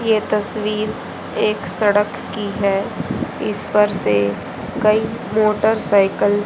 ये तस्वीर एक सड़क की है इस पर से कई मोटरसइकल --